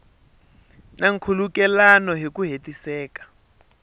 na nkhulukelano hi ku hetiseka